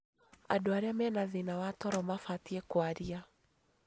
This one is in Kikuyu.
Andũ arĩa mena thĩna wa toro mabatie kũaria